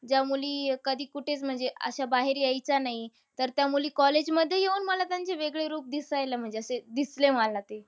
ज्या मुली कधी-कुठेच असं म्हणजे अश्या बाहेर यायचा नाही, तर त्या मुली college मध्ये येऊन त्यांचे वेगळे रूप दिसायला म्हणजे असं दिसले मला ते.